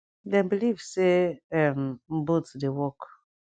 dem believe say um both dey work